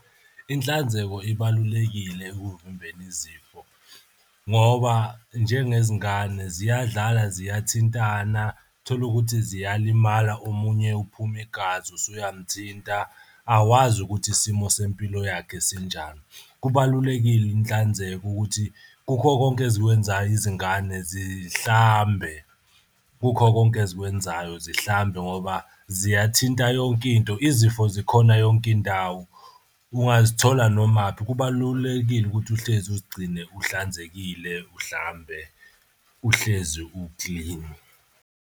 Inhlanzeko ibalulekile ekuvimbeni izifo ngoba njengezingane ziyadlala ziyathintana tholukuthi ziyalimala. Omunye uphume igazi usuyamthinta awazi ukuthi isimo sempilo yakhe sinjani. Kubalulekile inhlanzeko ukuthi kukho konke ezikwenzayo izingane zihlambe. Kukho konke ezikwenzayo zihlambe ngoba ziyathinta yonkinto. Izifo zikhona yonke indawo ungazithola nomaphi kubalulekile ukuthi uhlezi uzigcine uhlanzekile uhlambe, uhlezi uklini.